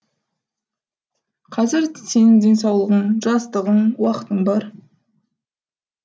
қазір сенің денсаулығың жастығың уақытың бар